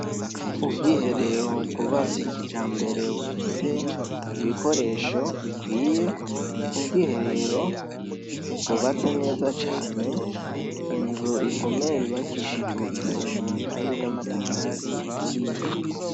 Ubwiherero bwubatse kijambere bufise ibikoresho bikwiye, ubwiherero bwubatse neza cane, inzu ikomeye yubakishijwe isima kandi n'amatafari aturiye.